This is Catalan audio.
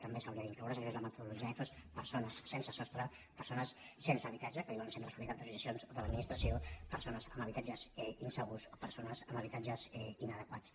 també s’hi haurien d’incloure i això és la metodologia ethos persones sense sostre persones sense habitatge que viuen en centres propietat d’associacions o de l’administració persones amb habitatges insegurs o persones amb habitatges inadequats